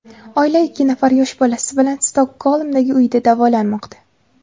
Oila ikki nafar yosh bolasi bilan Stokgolmdagi uyida davolanmoqda.